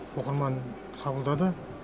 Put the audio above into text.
оқырман қабылдады